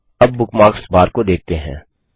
अब bookmarks bar को देखते हैं